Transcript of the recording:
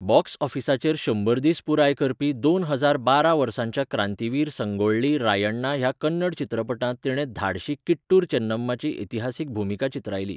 Box ऑफिसाचेर शंबर दीस पुराय करपी दोन हजार बारा वर्साच्या क्रांतीवीर संगोळ्ळी रायण्णा ह्या कन्नड चित्रपटांत तिणें धाडशी किट्टूर चेन्नम्माची इतिहासीक भुमिका चित्रायली.